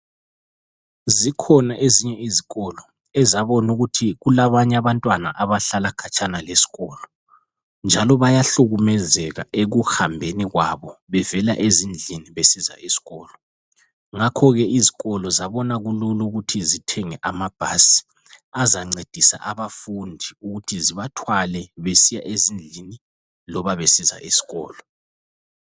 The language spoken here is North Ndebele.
Zikhona ezinye izikolo ezabona ukuthi kulabanye abantwana abahlala khatshana lesikolo njalo bayahlukumezeka ekuhambeni kwabo bevela ezindlini besiza esikolo. Ngakho ke izikolo zabona kulula ukuthi zithenge amabhasi azancediza abafundi ukuthi zibathwale besiya ezindlini loba besiya esikolo.